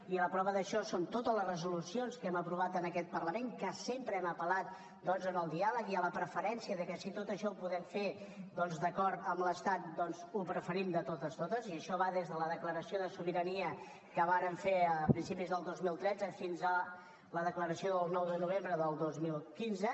i la prova d’això són totes les resolucions que hem aprovat en aquest parlament amb què sempre hem apel·lat al diàleg i a la preferència de que si tot això ho podem fer d’acord amb l’estat ho preferim de totes totes i això va des de la declaració de sobirania que vàrem fer a principis del dos mil tretze fins a la declaració del nou de novembre del dos mil quinze